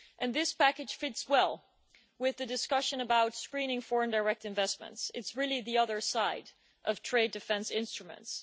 This package fits well with the discussion about screening foreign direct investments it's really the other side of trade defence instruments.